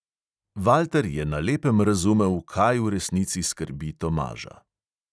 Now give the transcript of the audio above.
Valter je na lepem razumel, kaj v resnici skrbi tomaža.